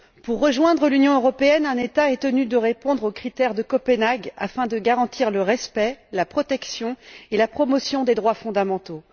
Pour rejoindre l'Union européenne, un État est tenu de répondre aux critères de Copenhague afin que soient garantis le respect, la protection et la promotion des droits fondamentaux.